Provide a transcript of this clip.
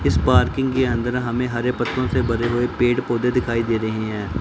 इस पार्किंग के अंदर हमे हरे पत्तों से भरे हुए पेड़ पौधे दिखाई दे रहे है।